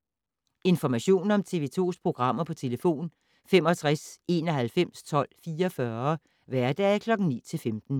Information om TV 2's programmer: 65 91 12 44, hverdage 9-15.